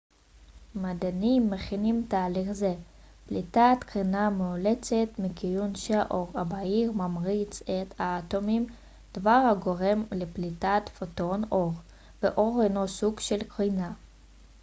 מדענים מכנים תהליך זה פליטת קרינה מאולצת מכיוון שהאור הבהיר ממריץ את האטומים דבר הגורם לפליטת פוטון אור ואור הינו סוג של קרינה